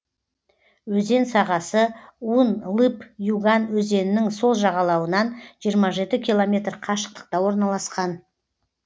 өзен сағасы ун лып юган өзенінің сол жағалауынан жиырма жеті километр қашықтықта орналасқан